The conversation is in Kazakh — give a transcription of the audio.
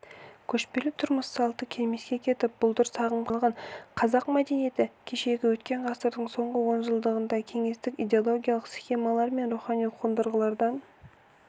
көшпелі тұрмыс-салты келмеске кетіп бұлдыр сағымға айналған қазақ мәдениеті кешегі өткен ғасырдың соңғы онжылдығында кеңестік идеологиялық схемалар мен рухани қондырғылырдан